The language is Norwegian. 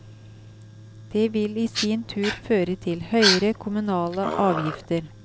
Det vil i sin tur føre til høyere kommunale avgifter.